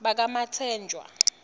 bakamatsenjwa